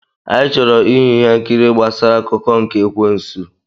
Anyị chọrọ ịhụ ihe nkiri gbasara akụkọ nke ekwensu.